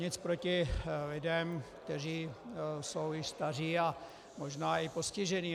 Nic proti lidem, kteří jsou již staří a možná i postižení.